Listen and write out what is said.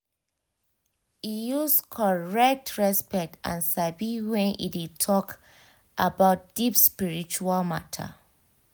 e use correct respect and sabi when e dey talk about deep spiritual matter.